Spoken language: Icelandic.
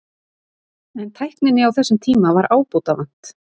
En tækninni á þessum tíma var ábótavant.